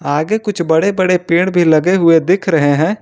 आगे कुछ बड़े बड़े पेड़ भी लगे हुए दिख रहे हैं।